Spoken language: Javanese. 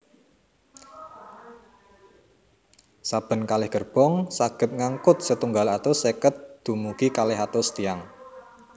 Saben kalih gerbong saged ngangkut setunggal atus seket dumugi kalih atus tiyang